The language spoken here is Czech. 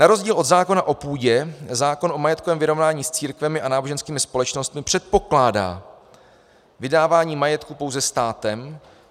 Na rozdíl od zákona o půdě zákon o majetkovém vyrovnání s církvemi a náboženskými společnostmi předpokládá vydávání majetku pouze státem.